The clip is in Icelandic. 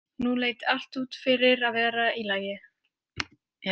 Nú leit allt út fyrir að vera í lagi.